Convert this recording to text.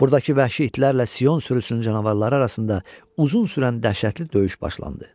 Burdakı vəhşi itlərlə Sion sürüsünün canavarları arasında uzun sürən dəhşətli döyüş başlandı.